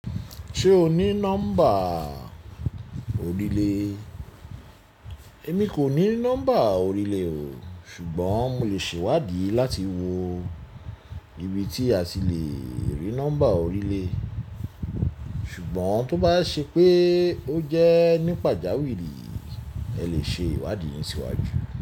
Ṣé o ní nọ́mbà orílẹ̀? Èmi kò ní nọ́mbà orílẹ̀ o, ṣùgbọ́n mo lè ṣèwádìí láti wo ibi tí a sì lè rí nọ́mbà orílẹ̀. Ṣùgbọ́n tó bá ṣe pé ó jẹ́ nípa ìjáwèé rí, ẹ lè ṣe ìwádìí yín síwájú.